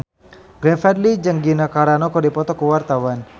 Glenn Fredly jeung Gina Carano keur dipoto ku wartawan